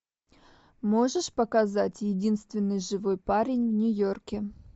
можешь показать единственный живой парень в нью йорке